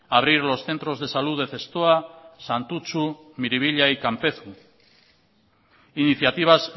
abrir los centros de salud de zestoa santutxu miribilla y kanpezu iniciativas